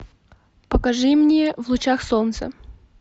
покажи мне в лучах солнца